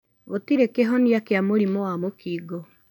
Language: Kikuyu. Gũtĩrĩ kĩhonia kia mũrimũ wa mũkingo.